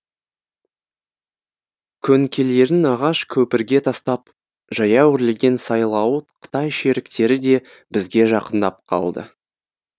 көңкелерін ағаш көпірге тастап жаяу өрлеген сайлауыт қытай шеріктері де бізге жақындап қалды